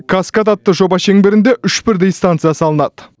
каскад атты жоба шеңберінде үш бірдей станция салынады